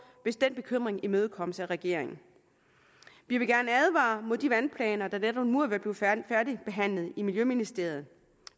hvis den bekymring imødekommes af regeringen vi vil gerne advare mod de vandplaner der netop nu er ved at blive færdigbehandlet i miljøministeriet